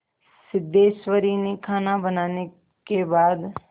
सिद्धेश्वरी ने खाना बनाने के बाद